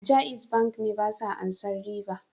Jaiz Bank ne basa ansan riba.